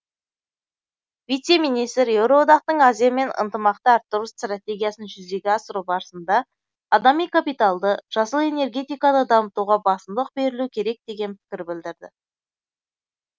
вице министр еуроодақтың азиямен ынтымақты арттыру стратегиясын жүзеге асыру барысында адами капиталды жасыл энергетиканы дамытуға басымдық берілу керек деген пікір білдірді